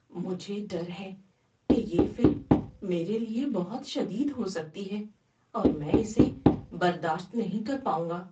مجھے ڈر ہے کہ یہ فلم میرے لیے بہت شدید ہو سکتی ہے اور میں اسے برداشت نہیں کر پاؤں گا۔